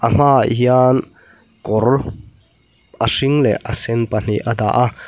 hmaah hian kawr a hring leh a sen pahnih a dah a.